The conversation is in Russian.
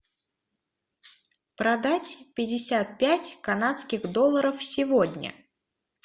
продать пятьдесят пять канадских долларов сегодня